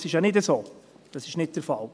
Dem ist ja nicht so, das ist nicht der Fall.